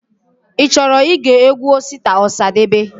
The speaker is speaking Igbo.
Ichọrọ ige egwu Osita Osadebe?